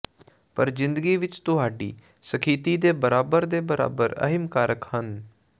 ਪਰ ਜ਼ਿੰਦਗੀ ਵਿਚ ਤੁਹਾਡੀ ਸਥਿਤੀ ਦੇ ਬਰਾਬਰ ਦੇ ਬਰਾਬਰ ਅਹਿਮ ਕਾਰਕ ਹਨ